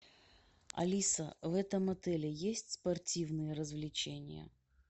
алиса в этом отеле есть спортивные развлечения